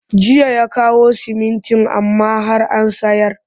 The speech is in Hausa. Jiya ya kawo siminti amma har an sayar